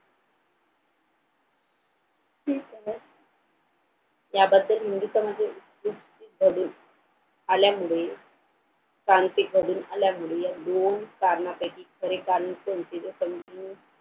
यामध्ये नेहमीच म्हणजे कडे आल्यामुळे क्रांती घडून आल्यामुळे या दोन कारणांपैकी खरे कारण कोणते तर समजून